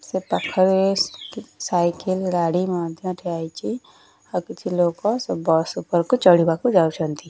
ସେପାଖରେ cycle ଗାଡି ମଧ୍ଯ ଥୁଆ ହୋଇଛି ଆଉ କିଛିଲୋକ ବସ ଉପରକୁ ଚଢିବାକୁ ଯାଉଛନ୍ତି।